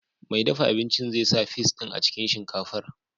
Mai dafa abincin zai sa fis din a cikin shinkafar.